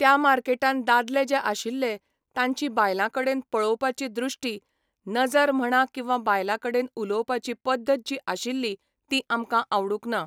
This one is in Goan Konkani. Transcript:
त्या मार्केटान दादले जे आशिल्ले, तांची बायलां कडेन पळोवपाची दृश्टी, नजर म्हणा किंवा बायलां कडेन उलोवपाची पद्दत जी आशिल्ली ती आमकां आवडूंक ना.